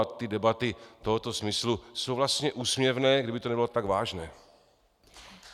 A ty debaty tohoto smyslu jsou vlastně úsměvné, kdyby to nebylo tak vážné.